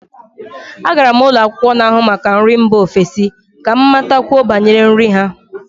Agara m ụlọ akwụkwọ n'ahụ maka nri mba ofesi ka m matakwuo banyere nri ha